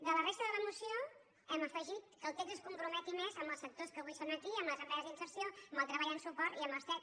de la resta de la moció hem afegit que el text es comprometi més amb els sectors que avui són aquí amb les empreses d’inserció amb el treball amb suport i amb els cet